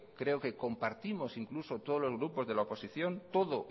creo que compartimos incluso todos los grupos de la oposición todo